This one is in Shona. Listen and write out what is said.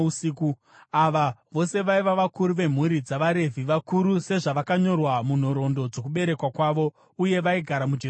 Ava vose vaiva vakuru vemhuri dzavaRevhi, vakuru sezvavakanyorwa munhoroondo dzokuberekwa kwavo. Uye vaigara muJerusarema.